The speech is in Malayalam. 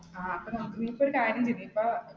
ആ അപ്പൊ, നമുക്ക് നീ ഇപ്പ ഒരു കാര്യം ചെയ്യ്